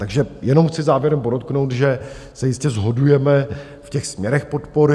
Takže jenom chci závěrem podotknout, že se jistě shodujeme v těch směrech podpory.